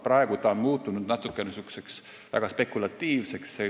Praegu on ta muutunud natuke spekulatiivseks.